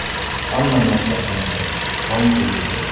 Hamma narsa qilindi, qon quyildi.